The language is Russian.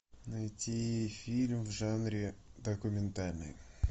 найти фильм в жанре документальный